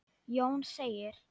Jón segir: